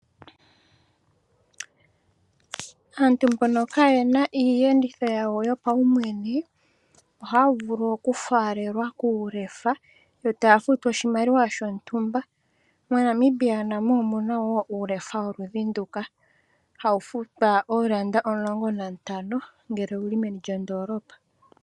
Aantu mbono ka yena iiyenditho yawo yopaumwene, ohaa vulu okufaalelwa kuulefa, yo taya futu oshimaliwa shontumba. MoNamibia namo omuna wo uulefa woludhi nduka hawu futwa oondola omulongo nantano, ngele owuli meni lyondoolopa.